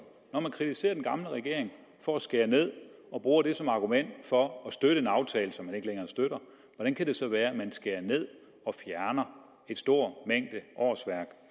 når man kritiserer den gamle regering for at skære ned og bruger det som argument for at støtte en aftale som man ikke længere støtter hvordan kan det så være man skærer ned og fjerner en stor mængde årsværk